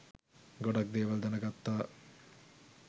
ගොඩක් දේවල් දැනගත්තා